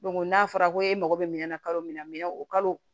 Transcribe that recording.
n'a fɔra ko e mago bɛ minɛn na kalo min na minɛn o kalo